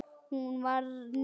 Hún var níræð.